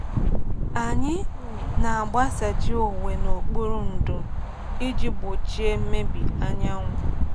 Anyị na-agbasa ji owuwe n’okpuru ndò iji gbochie mmebi anyanwụ.